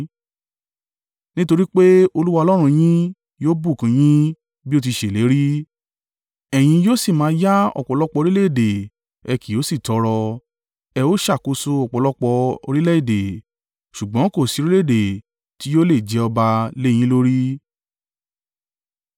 Nítorí pé Olúwa Ọlọ́run yín yóò bùkún un yín bí ó ti ṣèlérí, ẹ̀yin yóò sì máa yá ọ̀pọ̀lọpọ̀ orílẹ̀-èdè ẹ kì yóò sì tọrọ. Ẹ ó ṣàkóso ọ̀pọ̀lọpọ̀ orílẹ̀-èdè, ṣùgbọ́n kò sí orílẹ̀-èdè tí yóò lè jẹ ọba lé e yín lórí.